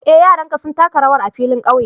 Eh, yaranka sun taka rawar a'filin ƙauye.